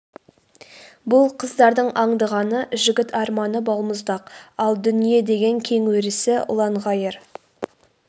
бұл қыздардың аңдығаны жігіт арманы балмұздақ ал дүние деген кең өрісі ұлан-ғайыр